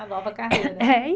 A nova carreira.